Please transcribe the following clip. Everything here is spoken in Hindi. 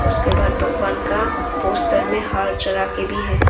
उसके बाद भगवान का पोस्टर में हार चाडा के भी है।